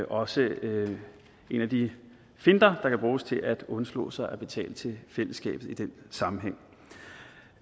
også en af de finter der kan bruges til at undslå sig for at betale til fællesskabet i den sammenhæng